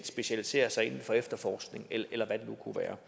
specialisere sig inden for efterforskning eller hvad det nu kunne være